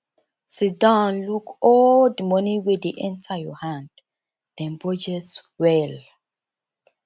sidon look all di money wey dey enter your hand then budget well